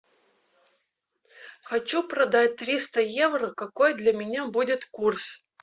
хочу продать триста евро какой для меня будет курс